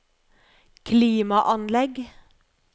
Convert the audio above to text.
klimaanlegg